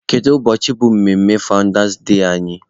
Kedu ụbọchị bụ mmemme fawụndas dee anyị?